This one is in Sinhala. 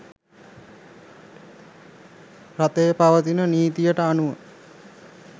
රටේ පවතින නීතියට අනුව